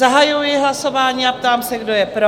Zahajuji hlasování a ptám se, kdo je pro?